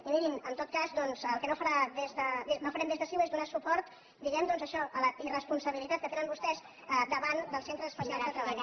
i mirin en tot cas doncs el que no farem des de ciu és donar suport diguem ne doncs a això a la irresponsabilitat que tenen vostès davant dels centres especials de treball